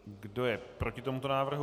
Kdo je proti tomuto návrhu?